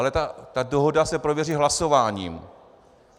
Ale ta dohoda se prověří hlasováním.